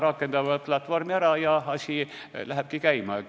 Rakendatakse platvorm ära ja asi lähebki käima.